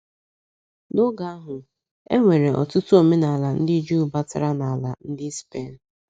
N’oge ahụ, e nwere ọtụtụ omenala ndị Juu batara n'ala ndi Spen.